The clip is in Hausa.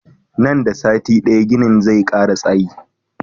Nan da sati daya ginin nan zai kara tsayi